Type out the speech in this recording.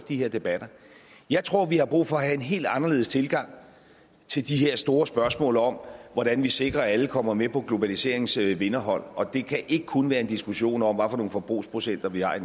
de her debatter jeg tror vi har brug for at have en helt anderledes tilgang til de her store spørgsmål om hvordan vi sikrer at alle kommer med på globaliseringens vinderhold og det kan ikke kun være en diskussion om hvilke forbrugsprocenter vi har